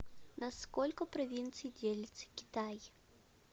на сколько провинций делится китай